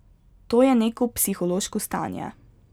To je neko psihološko stanje.